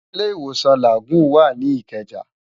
Ilé Iwósán Lágúùn wá ni Ikeja